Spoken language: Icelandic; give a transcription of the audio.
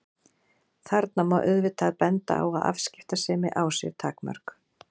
Þarna má auðvitað benda á að afskiptasemi á sér takmörk.